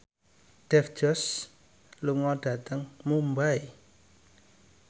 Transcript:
Dev Joshi lunga dhateng Mumbai